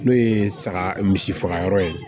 N'o ye saga misi faga yɔrɔ ye